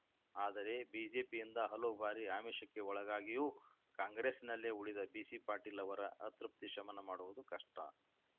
ಆದರೆ ಬಿಜೆಪಿಯಿಂದ ಹಲವು ಬಾರಿ ಆಮಿಷಕ್ಕೆ ಒಳಗಾಗಿಯೂ ಕಾಂಗ್ರೆಸ್‌ನಲ್ಲೇ ಉಳಿದ ಬಿಸಿ ಪಾಟೀಲ್‌ ಅವರ ಅತೃಪ್ತಿ ಶಮನ ಮಾಡುವುದು ಕಷ್ಟ